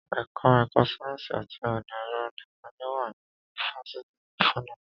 Ẹka ẹ̀kọ́ sáyẹ́nsì àti ọ̀nà ẹ̀rọ nìkan ni ó wà ní ifáfitì ti FUNAB.